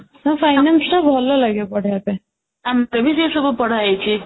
ତ finance ଟା ଭଲ ଲାଗେ ପଢିବା ପାଇଁ ଆମର ବି ସେ ସବୁ ପଢା ହେଇଚି